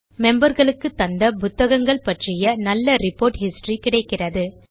memberகளுக்கு தந்த புத்தகங்கள் பற்றி நல்ல ரிப்போர்ட் ஹிஸ்டரி கிடைக்கிறது